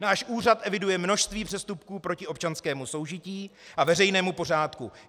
Náš úřad eviduje množství přestupků proti občanskému soužití a veřejnému pořádku.